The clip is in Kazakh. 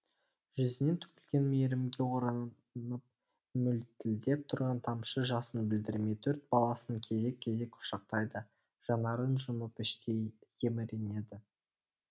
жүзінен төгілген мейірімге оранып мөлтілдеп тұрған тамшы жасын білдірмей төрт баласын кезек кезек құшақтайды жанарын жұмып іштей еміренеді